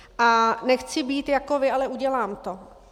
A nechci být jako vy, ale udělám to.